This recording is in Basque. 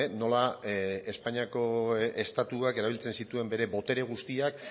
nola espainiako estatuak erabiltzen zituen bere botere guztiak